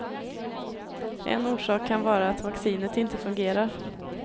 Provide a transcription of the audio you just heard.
En orsak kan vara att vaccinet inte fungerar.